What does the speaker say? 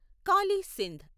Kali Sindh